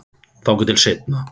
Þangað til seinna.